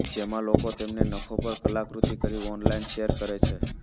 જેમાં લોકો તેમના નખો પર કલાકૃતિ કરી ઑનલાઇન શેર કરે છે